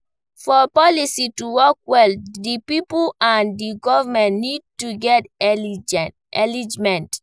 For policy to work well, di pipo and di govement need to get alignment